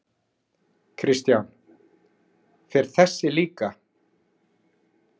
Kristján: Fer þessi líka?